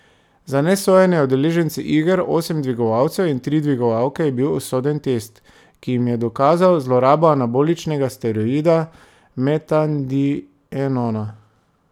Za nesojene udeležence iger, osem dvigovalcev in tri dvigovalke, je bil usoden test, ki jim je dokazal zlorabo anaboličnega steroida metandienona.